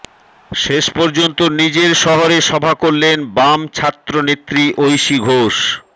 শেষপর্যন্ত নিজের শহরে সভা করলেন বাম ছাত্রনেত্রী ঐশী ঘোষ